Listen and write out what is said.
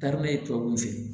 tubabu fɛ ye